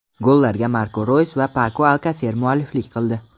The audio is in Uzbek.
Gollarga Marko Roys va Pako Alkaser mualliflik qildi.